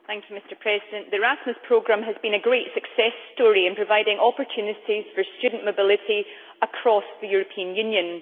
Mr President, the Erasmus Programme has been a great success story in providing opportunities for student mobility across the European Union.